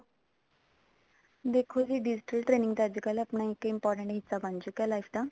ਦੇਖੋ ਜੀ digital training ਅੱਜਕਲ ਆਪਣਾ important ਹਿੱਸਾ ਬਣ ਚੁੱਕਿਆ life ਦਾ